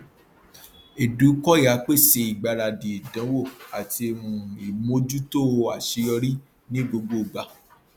edukoya pèsè ìgbáradì ìdánwò àti um ìmójútó aṣeyọrí ní gbogbo gbà